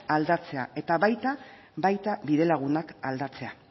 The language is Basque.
aldatzea eta baita bidelagunak aldatzea